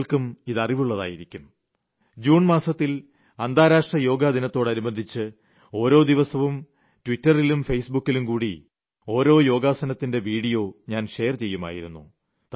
താങ്കൾക്കും ഇത് അറിവുളളതായിരിക്കും ജൂൺ മാസത്തിൽ അന്താരാഷ്ട്ര യോഗാ ദിനത്തോടനുബന്ധിച്ച് ഓരോ ദിവസവും ട്വിറ്ററിലും ഫെയ്സ് ബുക്കിലും കൂടി ഓരോ യോഗാസനത്തിന്റെ വിഡിയോ ഞാൻ ഷെയർ ചെയ്യുമായിരുന്നു